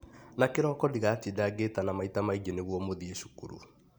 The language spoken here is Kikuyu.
Na kĩroko ndigatinda ngitana maita maingĩ nĩguo mũthiĩ cukuru.